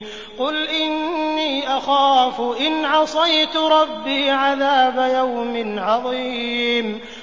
قُلْ إِنِّي أَخَافُ إِنْ عَصَيْتُ رَبِّي عَذَابَ يَوْمٍ عَظِيمٍ